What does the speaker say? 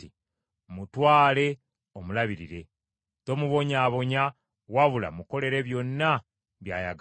“Mmutwale omulabirire: tomubonyaabonya wabula mukolere byonna by’ayagala.”